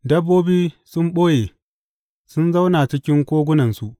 Dabbobi sun ɓoye; sun zauna cikin kogunansu.